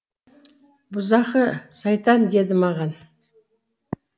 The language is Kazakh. бұзақы сайтан деді маған